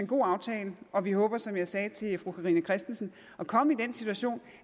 god aftale og vi håber som jeg sagde til fru carina christensen at komme i den situation